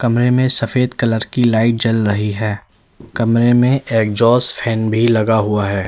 कमरे में सफेद कलर की लाइट जल रही है कमरे में एग्जॉस्ट फैन भी लगा हुआ है।